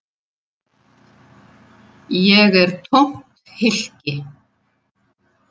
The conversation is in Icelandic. Ég er tómt hylki.